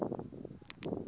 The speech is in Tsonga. lowu a wu ri na